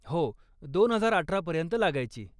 हो, दोन हजार अठरा पर्यंत लागायची.